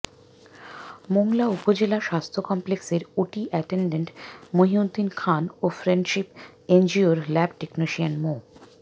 মোংলা উপজেলা স্বাস্থ্য কমপ্লেক্সের ওটি অ্যাটেন্ডেন্ট মহিউদ্দিন খান ও ফ্রেন্ডশিপ এনজিওর ল্যাব টেকনিশিয়ান মো